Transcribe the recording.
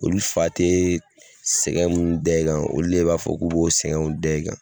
Olu fa tɛ sɛgɛn minnu da e kan, olu de b'a fɔ k'u b'o sɛgɛnw da e kan.